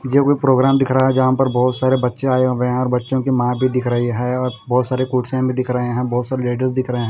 मुझे कोई प्रोग्राम दिख रहा है जहां पर बहोत सारे बच्चे आए हुए हैं और बच्चों की मा भी दिख रही है और बहोत सारे कुर्सियां भी दिख रहे हैं बहोत सारे लेडीस दिख रहे--